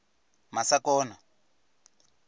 masakona